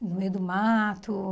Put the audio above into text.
No meio do mato.